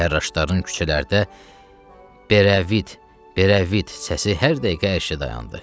Fərraşların küçələrdə berəvid, berəvid səsi hər dəqiqə eşidə dayandı.